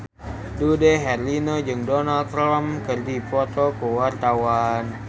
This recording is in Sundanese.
Dude Herlino jeung Donald Trump keur dipoto ku wartawan